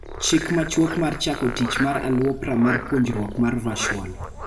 Chik machuok mar chako tich mar aluopra mar puonjruok mar virtual.